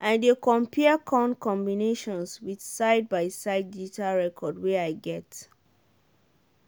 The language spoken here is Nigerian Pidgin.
i dey compare corn combinations with side-by-side digital record wey i get.